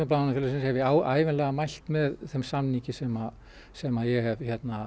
Blaðamannafélagsins hef ég ævinlega mælt með þeim samningi sem sem ég hef